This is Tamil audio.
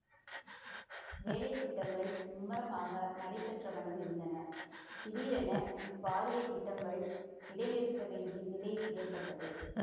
வேலைத்திட்டங்கள் மும்முரமாக நடைப்பெற்றவண்ணம் இருந்தன திடீரென இப்பாரிய திட்டங்கள் இடைநிறுத்த வேண்டி நிலை ஏற்பட்டது